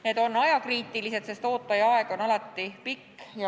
Need on ajakriitilised teemad, sest ootaja aeg on alati pikk.